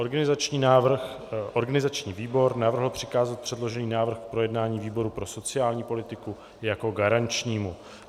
Organizační výbor navrhl přikázat předložený návrh k projednání výboru pro sociální politiku jako garančnímu.